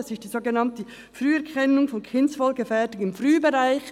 Es ist die sogenannte «Früherkennung von Kindswohlgefährdung im Frühbereich».